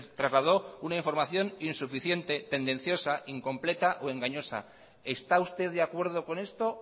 trasladó una información insuficiente tendenciosa incompleta o engañosa está usted de acuerdo con esto